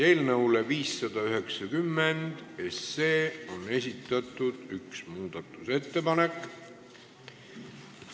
Eelnõu 590 kohta on esitatud üks muudatusettepanek.